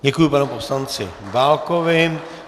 Děkuji panu poslanci Válkovi.